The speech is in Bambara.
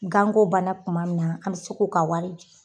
Ganko banna kuma min na an bɛ se k'u ka wari di.